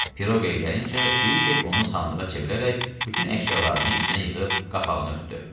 Piroqaya gəlincə, Kviçek onu sandığa çevirərək bütün əşyalarını içinə yığıb qapağını örtdü.